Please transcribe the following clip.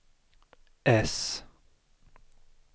äss